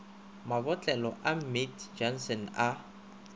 mabotlelo a mead johnson a